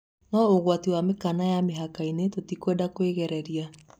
"No ũgwati wa mĩkaana ya mĩhakainĩ, tũtikwenda kũĩgerereria".